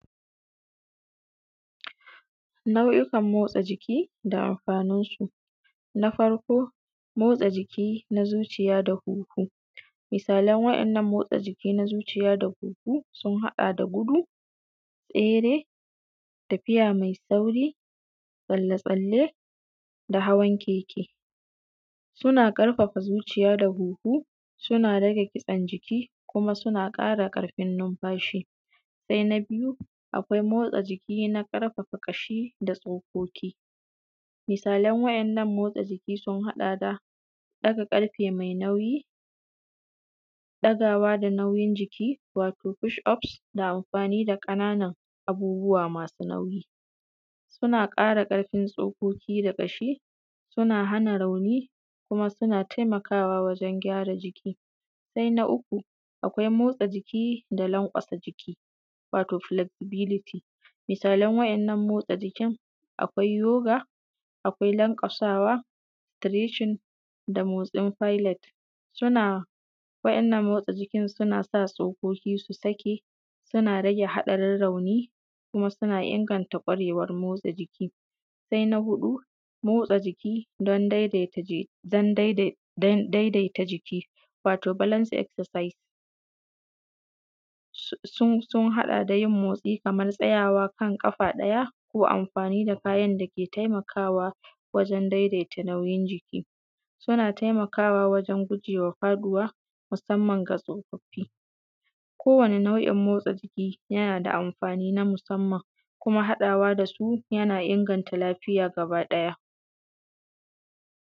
nau’ikan motsa jiki da amfanin su na farko motsa jiki na zuciya da huhu misalin wannan motsa jiki na zuciya da huhu sun haɗa da gudu tsere tafiya mai sauri tsalle tsalle da hawan keke suna ƙarfafa zuciya da huhu suna rage kitsen jiki kuma suna ƙara ƙarfin numfashi sai na biyu akwai motsa jiki na ƙarfafa ƙashi da tsokoki misalin wa’innan motsa jiki sun haɗa da ɗaga ƙarfe mai nauyi ɗaga wa da nauyin jiki wato push up da amfani da ƙananan abubuwa masu nauyi suna ƙara ƙarfin tsokoki da ƙashi suna hana rauni kuma suna taimaka wa wajan gyara jiki sai na uku akwai motsa jiki da lanƙwasa jiki wato flexibility misalin wa’innan motsa jikin akwai yoga akwai lanƙwasawa treching da motsin pilet wa’innan motsa jiki suna sa tsokoki su saki yana rage haɗarin rauni kuma suna inganta ƙwarewar motsa jiki sai na huɗu motsa jiki don daidaita jiki wato balance excersise sun haɗa da yin motsi kaman tsayawa kan ƙafa ɗaya ko amfani da kayan da ke taimakawa wajan daidaita nauyin jiki suna taimakawa wajan gujewa faɗuwa musamman ga tsofaffi ko wane nau’in motsa jiki yana da amfani na musamman kuma haɗawa da su yana inganta lafiya gabaki ɗaya